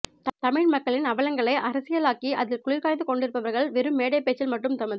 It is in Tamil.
தமிழ் மக்களின் அவலங்களை அரசியலாக்கி அதில் குளிர்காய்ந்து கொண்டிருப்பவர்கள் வெறும் மேடைப்பேச்சில் மட்டும் தமது